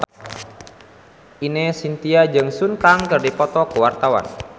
Ine Shintya jeung Sun Kang keur dipoto ku wartawan